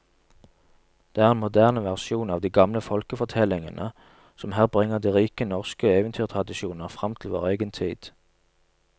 Det er en moderne versjon av de gamle folkefortellingene som her bringer de rike norske eventyrtradisjoner fram til vår egen tid.